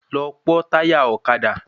Lọ pọ́ táyà ọ̀kadà